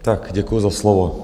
Tak děkuji za slovo.